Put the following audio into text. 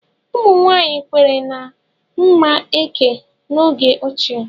Ụmụ nwanyị kweere na mma eke n'oge ochie.